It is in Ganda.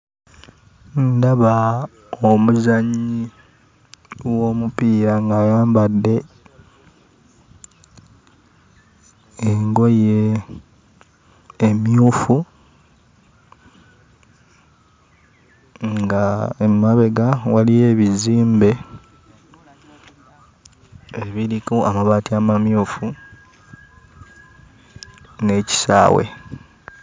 Ndaba omuzannyi w'omupiira ng'ayambadde engoye emmyufu nga emabega waliyo ebizimbe ebiriko amabaati amamyufu n'ekisaawe.